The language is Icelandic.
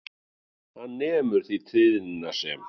Hann nemur því tíðnina sem